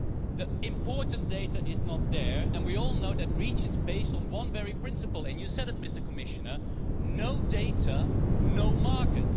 The important data is not there, and we all know that REACH is based on one principle and you said it, Mr Commissioner no data, no market.